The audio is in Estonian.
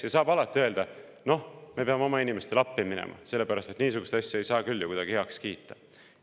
Ja alati saab öelda, et me peame oma inimestele appi minema, sest niisugust asja ei saa küll kuidagi heaks kiita.